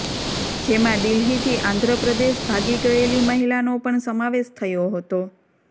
જેમાં દિલ્હીથી આંધ્ર પ્રદેશ ભાગી ગયેલી મહિલાનો પણ સમાવેશ થયો હતો